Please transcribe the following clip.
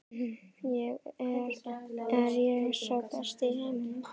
Er ég sá besti í heiminum?